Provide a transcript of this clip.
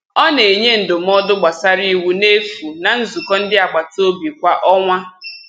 Ọ na-enye ndụmọdụ gbasara iwu n'efu na nzukọ ndị agbataobi kwa ọnwa.